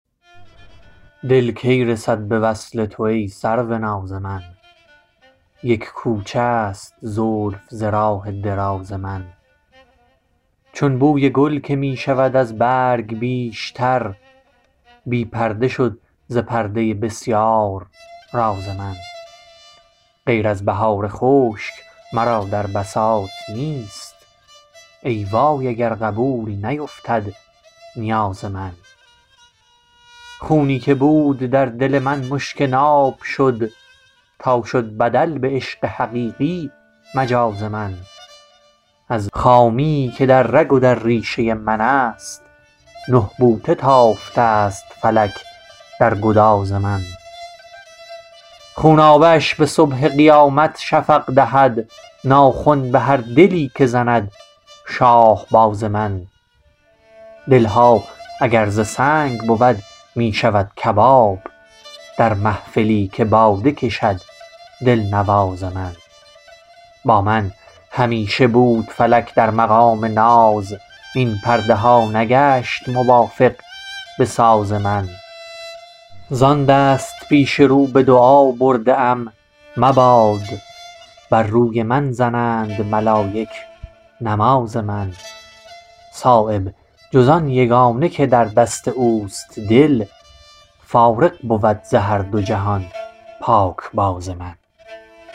دل کی رسد به وصل تو ای سروناز من یک کوچه است زلف ز راه دراز من چون بوی گل که می شود از برگ بیشتر بی پرده شد ز پرده بسیار راز من غیر از بهار خشک مرا در بساط نیست ای وای اگر قبول نیفتد نیاز من خونی که بود در دل من مشک ناب شد تا شد بدل به عشق حقیقی مجاز من از خامیی که در رگ و در ریشه من است نه بوته تافته است فلک در گداز من خونابه اش به صبح قیامت شفق دهد ناخن به هر دلی که زند شاهباز من دلها اگر ز سنگ بود می شود کباب در محفلی که باده کشد دلنواز من بامن همیشه بود فلک در مقام ناز این پرده ها نگشت موافق به ساز من زان دست پیش رو به دعا برده ام مباد بر روی من زنند ملایک نماز من صایب جز آن یگانه که در دست اوست دل فارغ بود ز هر دو جهان پاکباز من